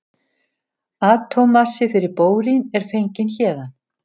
Atómmassi fyrir bórín er fenginn héðan.